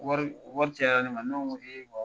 Wari wari cayara ne ma, ne ko ko